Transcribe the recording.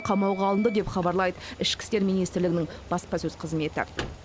қамауға алынды деп хабарлайды ішкі істер министрлігінің баспасөз қызметі